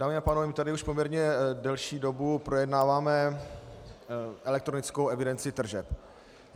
Dámy a pánové, my tady už poměrně delší dobu projednáváme elektronickou evidenci tržeb.